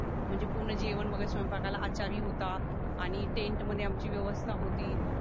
म्हणजे पूर्ण जेवण वगैरे स्वयंपाकाला आचारी होता आणि टेन्ट मध्ये आमची व्यवस्था होती